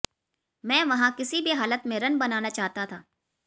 मैं वहां किसी भी हालत में रन बनाना चाहता था